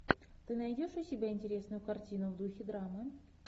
ты найдешь у себя интересную картину в духе драмы